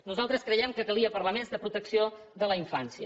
nosaltres criem que calia parlar més de protecció de la infància